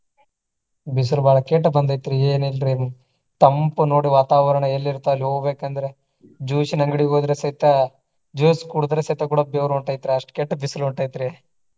ಬಿಸಿಲು ಬಾಳ ಕೆಟ್ಟ ಬಂದೆತ್ರಿ ಏನ ಇಲ್ರಿ ತಂಪು ನೋಡಿ ವಾತಾವರಣ ಎಲ್ಲಿ ಇರ್ತ ಅಲ್ಲಿ ಹೋಗ್ಬೇಕ ಅಂದ್ರ juice ನ ಅಂಗಡಿಗೆ ಹೋದ್ರೆ ಸಹಿತ juice ಕುಡದ್ರೆ ಸಹಿತ ಕೂಡಾ ಬೆವರ ಹೊಂಟೆತ್ರಿ ಅಷ್ಟ ಕೆಟ್ಟ ಬಿಸಿಲು ಹೊಂಟೆತ್ರಿ.